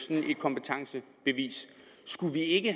kompetencebevis skulle vi ikke